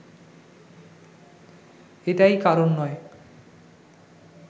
এটাই কারণ নয়